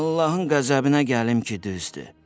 Allahın qəzəbinə gəlim ki, düzdür.